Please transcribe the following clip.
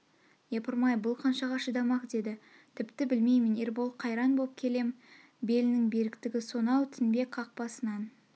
япырмай бұл қаншаға шыдамақ деді тіпті білмеймін ербол қайран боп келем белнің беріктгі сонау тінбек қақпасынан